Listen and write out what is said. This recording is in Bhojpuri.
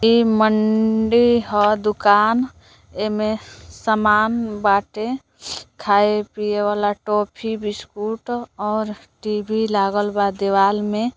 इ मंडी ह दुकान एमे सामान बाटे खाये पिए वाला टॉफ़ी बिस्कुट और टी.वी लागल बा दीवाल में।